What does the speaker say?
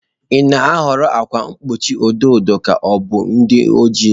Ị na-ahọrọ ákwà mgbochi edo edo ka ọ bụ ndị ojii?